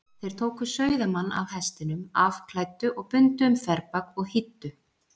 Þeir tóku sauðamann af hestinum, afklæddu og bundu um þverbak og hýddu.